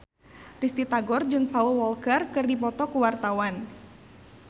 Risty Tagor jeung Paul Walker keur dipoto ku wartawan